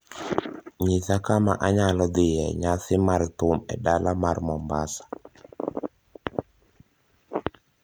Nyisa kama anyalo dhiye e nyasi mar thum e dala mar Mombasa